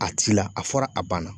A t'i la a fɔra a banna.